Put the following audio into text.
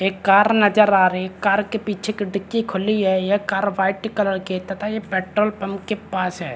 एक कार नज़र आ रही है कार की पीछे की डिक्की खुली है यह कार वाइट कलर की है तथा ये पेट्रोल पंप के पास है।